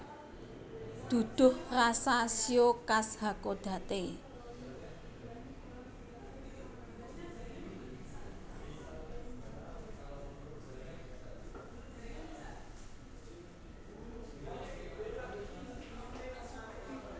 Duduh rasa shio khas Hakodate